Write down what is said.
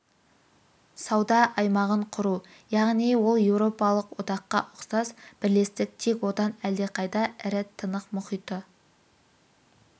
сауда аймағын құру яғни ол еуропалық одаққа ұқсас бірлестік тек одан әлдеқайда ірі тынық мұхиты